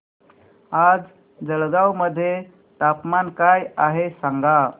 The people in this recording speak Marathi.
आज जळगाव मध्ये तापमान काय आहे सांगा